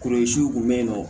kun be yen nɔ